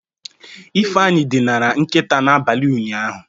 Ifeanyị dinara nkịta n'abalị ụnyaahụ.